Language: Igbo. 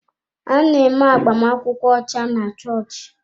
A na-eme agbamakwụkwọ ọcha na chọọchị.